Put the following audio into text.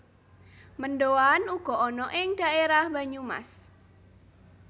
Mendoan uga ana ing dhaerah Banyumas